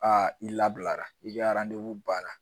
A i labilara i ka baara